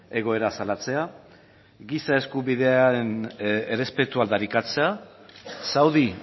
egoera salatzea giza eskubideen errespetua aldarrikatzea saudi